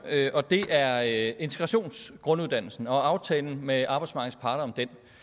og det er integrationsgrunduddannelsen og aftalen med arbejdsmarkedets parter om